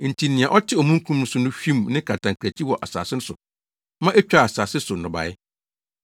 Enti nea ɔte omununkum so no hwim ne kantankrankyi wɔ asase so ma etwaa asase so nnɔbae.